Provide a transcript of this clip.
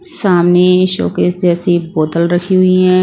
सामने शोकेस जैसी बोतल रखी हुई हैं।